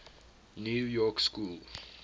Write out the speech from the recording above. new york school